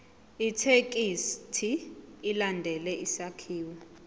ithekisthi ilandele isakhiwo